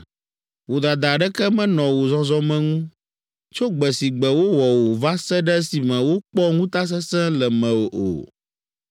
Vodada aɖeke menɔ wò zɔzɔme ŋu tso gbe si gbe wowɔ wò va se ɖe esime wokpɔ ŋutasesẽ le mewò o.